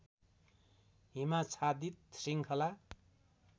हिमाच्छादित श्रृङ्खला